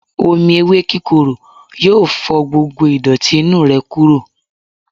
Omí ewe kíkoró yọọ fò gbógbó idoti inu rẹ kuro.